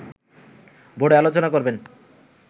বোর্ডে আলোচনা করবেন